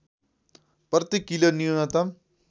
प्रति किलो न्यूनतम